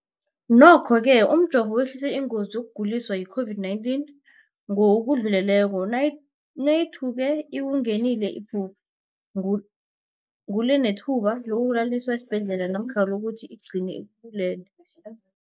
Nokho-ke umjovo wehlisa ingozi yokuguliswa yi-COVID-19 ngokudluleleko, nayithuke ikungenile, iphu ngule nethuba lokuyokulaliswa esibhedlela namkha lokuthi igcine ikubulele.